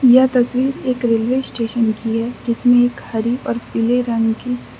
यह तस्वीर एक रेलवे स्टेशन की है जिसमें एक हरी और पीले रंग की --